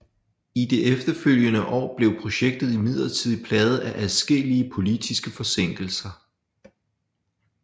I de efterfølgende år blev projektet imidlertid plaget af adskillige politiske forsinkelser